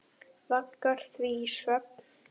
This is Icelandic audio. Vaggar því í svefn.